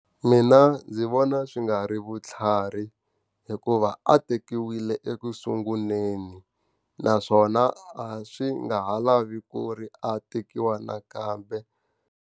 Mina ndzi vona swi nga ri vutlhari. Hikuva a tekiwile ekusunguleni. Naswona a swi nga ha lavi ku ri a tekiwa nakambe.